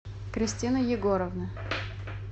кристина егоровна